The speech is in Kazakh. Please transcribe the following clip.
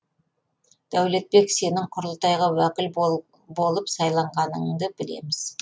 дәулетбек сенің құрылтайға уәкіл болып сайланғаныңды білеміз